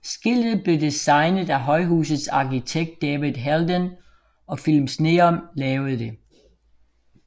Skiltet blev designet af højhusets arkitekt David Helldén og Philips Neon lavede det